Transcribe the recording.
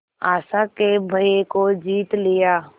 आशा के भय को जीत लिया